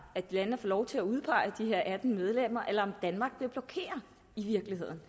at landene får lov til at udpege de her atten medlemmer eller danmark i virkeligheden